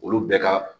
Olu bɛɛ ka